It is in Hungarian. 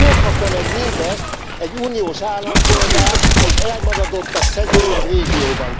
Hol kapja meg mindezt egy uniós állampolgár egy elmaradottabb, szegényebb régióban?